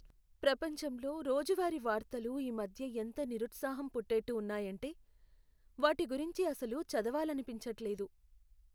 ప్రపంచంలో రోజువారీ వార్తలు ఈ మధ్య ఎంత నిరుత్సాహం పుట్టేట్టు ఉన్నాయంటే, వాటి గురించి అసలు చదవాలనిపించట్లేదు.